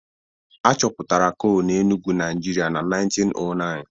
A chọpụtara coal na Enugu, Nigeria na 1909